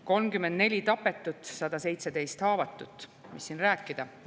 34 tapetut, 117 haavatut – mis siin rääkida?